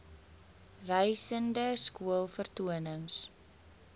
reisende skool vertonings